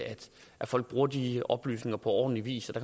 at folk bruger de oplysninger på ordentlig vis og